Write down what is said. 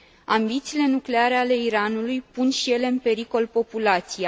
Ambițiile nucleare ale Iranului pun și ele în pericol populația.